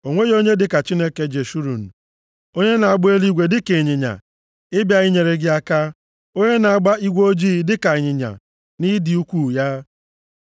“O nweghị onye dịka Chineke Jeshurun, onye na-agba eluigwe dịka ịnyịnya ịbịa inyere gị aka, onye na-agba igwe ojii dịka ịnyịnya nʼịdị ukwuu ya.